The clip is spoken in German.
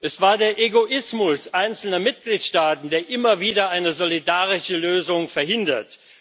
Es war der Egoismus einzelner Mitgliedstaaten, der immer wieder eine solidarische Lösung verhindert.